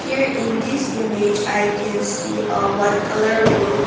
here in this image i can see a white colour room.